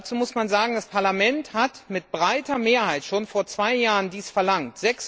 Dazu muss man sagen Das Parlament hat dies mit breiter Mehrheit schon vor zwei Jahren verlangt.